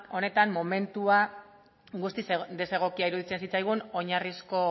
honetan momentua guztiz desegokia iruditzen zitzaigun oinarrizko